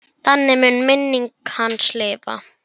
Þannig mun minning hans lifa.